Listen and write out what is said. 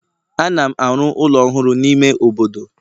Ana m arụ ụlọ ọhụrụ n'ime obodo